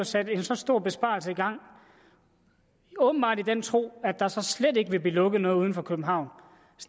sat en så stor besparelse i gang åbenbart i den tro at der så slet ikke vil blive lukket noget udenfor københavn